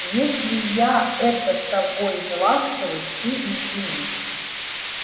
если я это с тобой неласковый ты извини